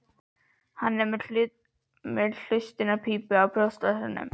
Hann er með hlustunarpípu í brjóstvasanum.